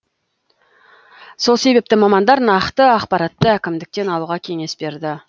сол себепті мамандар нақты ақпаратты әкімдіктен алуға кеңес берді